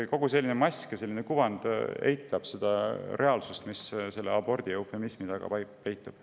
Selline mask ja selline kuvand eitab seda reaalsust, mis abordi eufemismi taga peitub.